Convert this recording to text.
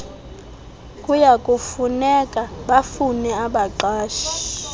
kuyakufuneka bafune abaqashi